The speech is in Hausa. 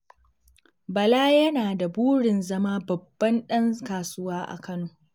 Bala yana da burin zama babban ɗan kasuwa a Kano.